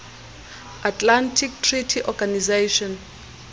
atlantic treaty organization